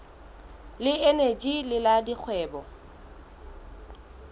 le eneji le la dikgwebo